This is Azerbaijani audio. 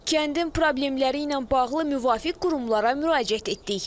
Kəndin problemləri ilə bağlı müvafiq qurumlara müraciət etdik.